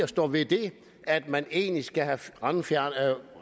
stå ved det at man egentlig skal have